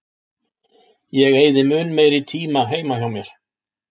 Ég eyði mun meiri tíma heima hjá mér.